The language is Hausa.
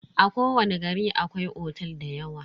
A kowani gari akwai otel dayawa.